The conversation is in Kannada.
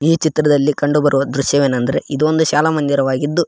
ಈ ಚಿತ್ರದಲ್ಲಿ ಕಂಡು ಬರುವ ದೃಶ್ಯವೆನೆಂದರೆ ಇದು ಒಂದು ಶಾಲಾ ಮಂದಿರವಾಗಿದ್ದು.